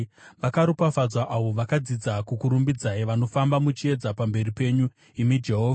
Vakaropafadzwa avo vakadzidza kukurumbidzai, vanofamba muchiedza pamberi penyu, imi Jehovha.